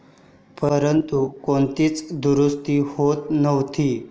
परंतु, कोणतीच दुरुस्ती होत नव्हती.